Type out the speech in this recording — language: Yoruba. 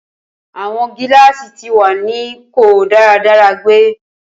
Awọn gilaasi ti wa ni ko daradara gbe.